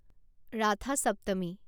Rath Saptami